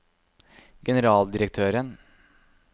generaldirektøren